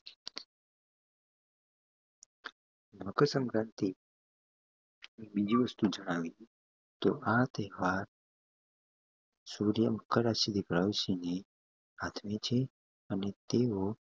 મકર સંક્રાંતિ એક બીજી વસ્તુ જણાવી કે આ તેહવાર સૂર્ય મકર રાશિ હાથ નીચે અને તેઓ